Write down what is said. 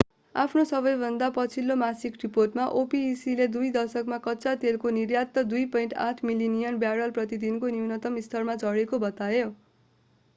आफ्नो सबैभन्दा पछिल्लो मासिक रिपोर्टमा opec ले दुई दशकमा कच्चा तेलको निर्यात 2.8 मिलियन ब्यारल प्रति दिनको न्यूनतम स्तरमा झरेको बतायो